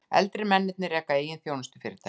Eldri mennirnir reka eigin þjónustufyrirtæki